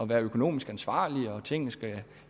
være økonomisk ansvarlig og af at tingene skal